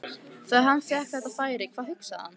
Þegar hann fékk þetta færi, hvað hugsaði hann?